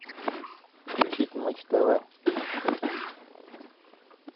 включить матч тв